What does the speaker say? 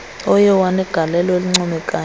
oye wanegaieio elincoomekayo